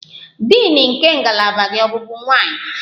Din nke ngalaba gị ọ bụbu nwanyị?